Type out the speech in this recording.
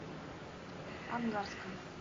ангарском